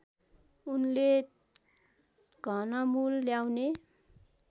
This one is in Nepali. उनले घनमूल ल्याउने